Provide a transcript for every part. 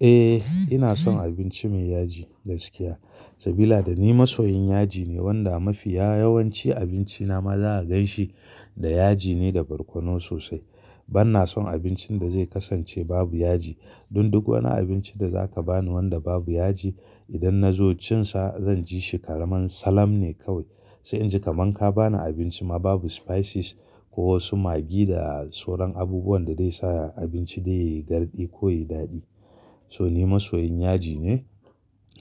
Eh, ina son abinci mai yaji da gaskiya. Sabida da ni masoyin yaji ne wanda mafiya yawanci abinci na ma za a gan shi da yaji ne da barkono sosai. Ban na son abincin da zai kasance babu yaji. Dun duk wani abinci da za ka bani wanda babu yaji idan na zo cin sa zan ji shi karamar salam ne kawai. Sai in ji kaman ka bani abinci ma babu spices ko wasu maggi da sauran abubuwan da zai sa abinci dai yayi gardi ko yayi daɗi. So ni masoyin yaji ne.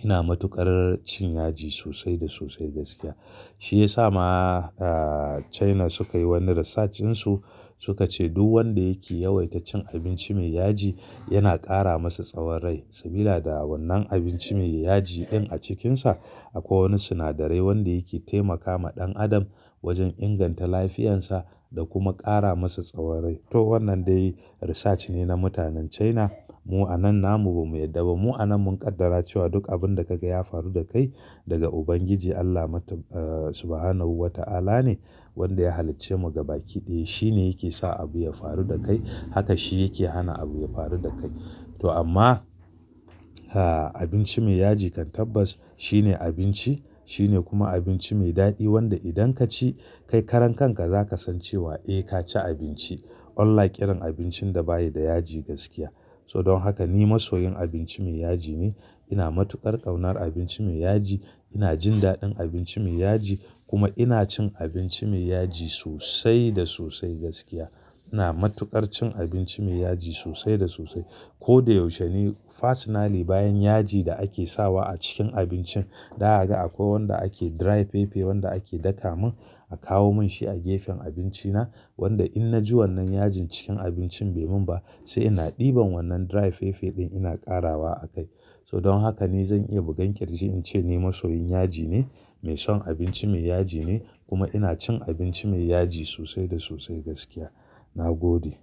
Ina matuƙar cin yaji sosai da sosai gaskiya. Shi ya sa ma, aa China suka yi wani research din su, suka ce duk wanda yake yawaita cin abinci mai yaji yana ƙara masa tsawon rai. Sabida da wannan abinci mai yaji din a cikin sa akwai wani sinadarai wanda yake taimakawa ɗan adam wajen inganta lafiyan sa da kuma ƙara masa tsawon rai. To wannan dai research ne na mutanen China. Mu'a nan namu ba mu yarda ba. Mu'a nan mun kaddara cewa duk abin da kaga ya faru da kai daga Ubangiji Allah mata, aa Subhanahu wa ta'ala ne wanda ya halicce mu gaba kiɗaya. Shi ne yake sa abu ya faru da kai. Haka shi yake hana abu ya faru da kai. To amma, aa abinci mai yaji kan tabbas shine abinci, shine kuma abinci mai daɗi wanda idan ka ci kai karan kan ka za ka san cewa eh ka ci abinci. Unlike irin abincin da bayi da yaji gaskiya. So don haka ni masoyin abinci mai yaji ne. Ina matuƙar ƙaunar abinci mai yaji. Ina jin daɗin abinci mai yaji kuma ina cin abinci mai yaji sosai da sosai gaskiya. Ina matuƙar cin abinci mai yaji sosai da sosai. Ko da yaushe ni personally bayan yaji da ake sawa a cikin abincin, da haka akwai wanda ake dry fefe wanda ake daka mun a kawo mun shi a gefen abinci na. Wanda in na ji wannan yajin cikin abincin bai mun ba sai ina ɗiban wannan dry fefe din ina ƙarawa a kai. So don haka ni zan iya bugan kirji in ce ni masoyin yaji ne, mai son abinci mai yaji ne kuma ina cin abinci mai yaji sosai da sosai gaskiya. Na gode.